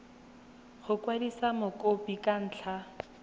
go kwadisa mokopi ka ntlha